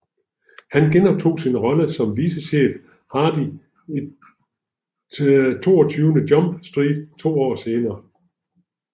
Han genoptog sin rolle som vicechef Hardy i 22 Jump Street to år senere